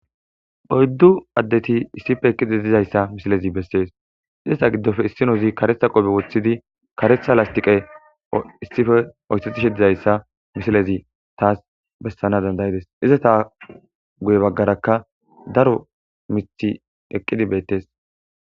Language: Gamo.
oyddu addeti issife eqqide dizayssa misilezi bessees izata giddofe issinozi karetha qoobe woththidi karetha lastiqe issife oyssetishidizayssa misilezi taas bessana dandayides izata guye baggarakka daro mithi eqqidi beettes